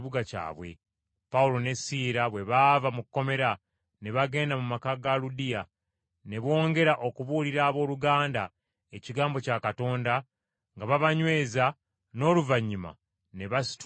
Pawulo ne Siira bwe baava mu kkomera ne bagenda mu maka ga Ludiya, ne bongera okubuulira abooluganda ekigambo kya Katonda nga babanyweza, n’oluvannyuma ne basitula ne bagenda.